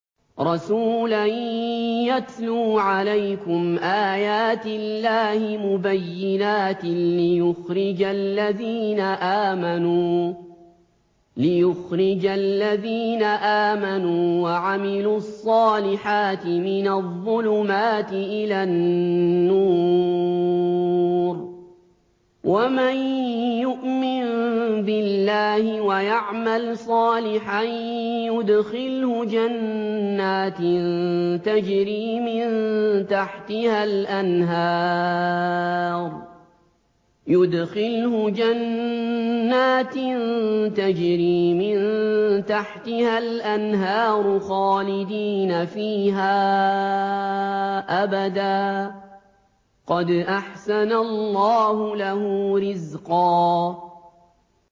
رَّسُولًا يَتْلُو عَلَيْكُمْ آيَاتِ اللَّهِ مُبَيِّنَاتٍ لِّيُخْرِجَ الَّذِينَ آمَنُوا وَعَمِلُوا الصَّالِحَاتِ مِنَ الظُّلُمَاتِ إِلَى النُّورِ ۚ وَمَن يُؤْمِن بِاللَّهِ وَيَعْمَلْ صَالِحًا يُدْخِلْهُ جَنَّاتٍ تَجْرِي مِن تَحْتِهَا الْأَنْهَارُ خَالِدِينَ فِيهَا أَبَدًا ۖ قَدْ أَحْسَنَ اللَّهُ لَهُ رِزْقًا